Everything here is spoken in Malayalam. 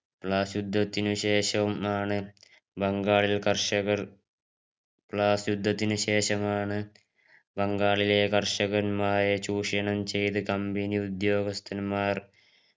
ബ്ലാസ് യുദ്ധത്തിന് ശേഷമാണ് ബംഗാളിൽ കർഷകർ ബ്ലാസ് യുദ്ധത്തിന് ശേഷമാണ് ബംഗാളിലെ കർഷകരെ ചൂഷണം ചെയ്തു company ഉദ്യോഗസ്ഥന്മാർ